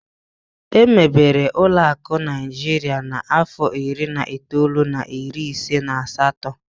Emebere ụlọakụ nke Naịjirịa na-afọ iri na itoolu na iri ise na asatọ.